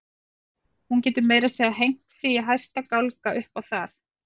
Hún getur meira að segja hengt sig í hæsta gálga upp á það.